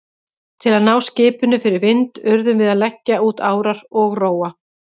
Til að ná skipinu fyrir vind urðum við að leggja út árar og róa.